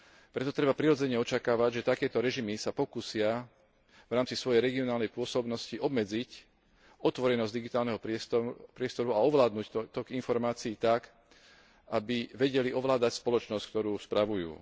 Preto treba prirodzene očakávať, že takéto režimy sa pokúsia v rámci svojej regionálnej pôsobnosti obmedziť otvorenosť digitálneho priestoru a ovládnuť tok informácií tak, aby vedeli ovládať spoločnosť, ktorú spravujú.